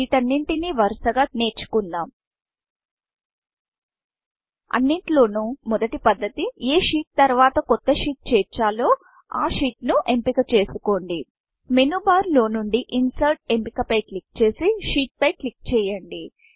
వీటన్నింటిని వరుసగా నేర్చుకుందాం అన్నింటిల్లో మొదటి పద్ధతి ఎ షీట్ షీట్తర్వాత కొత్త sheetషీట్ చేర్చాలో ఆ sheetషీట్ ను ఎంపిక చేసుకోండి మేను బార్ మేను బార్లో నుండి ఇన్సెర్ట్ ఇన్సర్ట్ఎంపిక పై క్లిక్ చేసి Sheetషీట్ పై క్లిక్ చేయండి